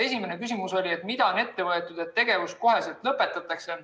Esimene küsimus oli, et mida on ette võetud, et tegevus koheselt lõpetataks.